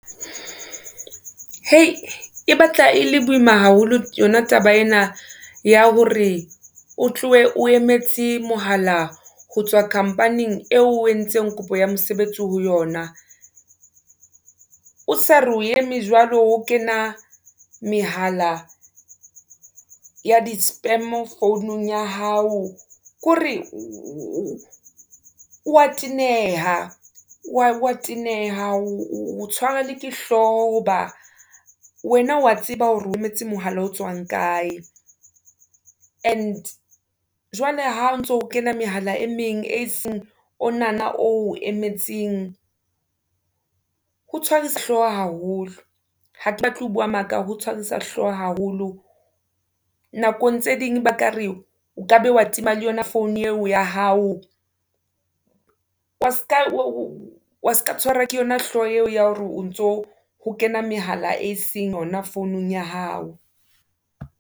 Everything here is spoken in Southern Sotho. E batla e le boima haholo yona taba ena ya hore o tlohe o emetse mohala ho tswa company-ng eo o entseng kopo ya mosebetsi ho yona. O sa re o eme jwalo ho kena mehala ya di-spam-o founung ya hao. Kore o wa teneha, wa teneha o tshwara le ke hlooho ho ba wena wa tseba hore o emetse mohala o tswang kae, and jwale ha o ntso kena mehala e meng e seng ona na oo emetseng. Ho tshwarisa hlooho haholo ha ke batle ho buwa maka ho tshwarisa hlooho haholo. Nakong tse ding ba kare o kabe wa tima le yona founu eo ya hao, wa ska tshwara ke yona hlooho eo ya hore o ntso ho kena mehala e seng yona founung ya hao.